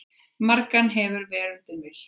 Margan hefur veröldin villt.